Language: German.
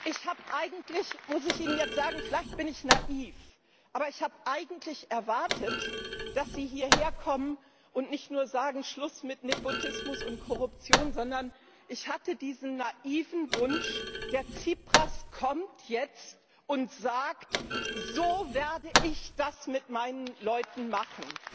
Ich muss Ihnen jetzt sagen Vielleicht bin ich naiv, aber ich habe eigentlich erwartet, dass Sie hierher kommen und nicht nur sagen Schluss mit Nepotismus und Korruption, sondern ich hatte diesen naiven Wunsch, der Tsipras kommt jetzt und sagt So werde ich das mit meinen Leuten machen.